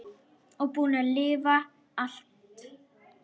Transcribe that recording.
Og búin að lifa allt.